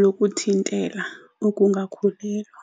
lokuthintela ukungakhulelwa.